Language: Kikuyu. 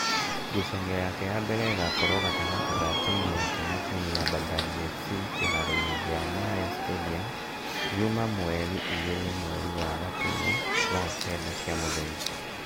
Ngucanio yake ya mbere ĩgakorwo gatagati ga timu yake na timu ya Bandari FC kĩharo-inĩ gia Nyayo National Sadium , Juma mweri igĩri mweri wa Gatumu thaa kenda cia mũthenya